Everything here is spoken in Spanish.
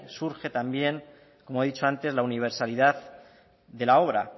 surge también como he dicho antes la universalidad de la obra